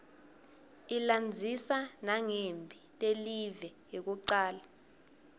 ilandzisa nangemphi telive yekucala